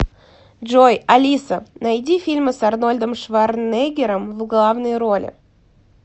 джой алиса найди фильмы с арнольдом шварнеггером в главной роли